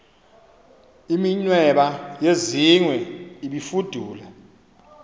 iminweba yezingwe ibifudula